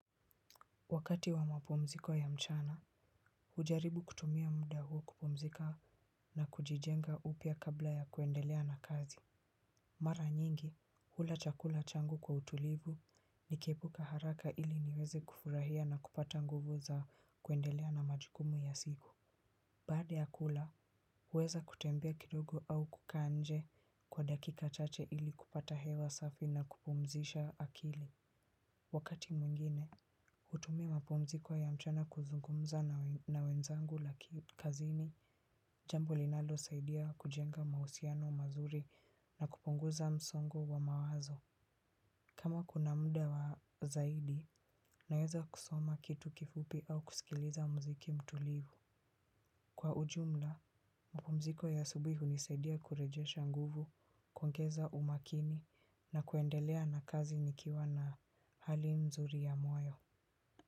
Wakati wa mapumziko ya mchana, hujaribu kutumia muda huo kupumzika na kujijenga upya kabla ya kuendelea na kazi. Mara nyingi, hula chakula changu kwa utulivu nikihepuka haraka ili niweze kufurahia na kupata nguvu za kuendelea na majukumu ya siku. Baada ya kula, huweza kutembea kidogo au kukaa nje kwa dakika chache ili kupata hewa safi na kupumzisha akili. Wakati mwingine, hutumia mapumziko ya mchana kuzungumza na wenzangu kazini, jambo linalo saidia kujenga mahusiano mazuri na kupunguza msongo wa mawazo. Kama kuna muda wa zaidi, naweza kusoma kitu kifupi au kusikiliza mziki mtulivu. Kwa ujumla, mapumziko ya asubuhi hunisaidia kurejesha nguvu, kuongeza umakini na kuendelea na kazi nikiwa na hali nzuri ya moyo.